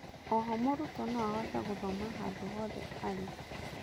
oho mũrutwo no ahote gũthoma handũ hothe arĩ.